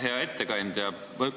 Hea ettekandja!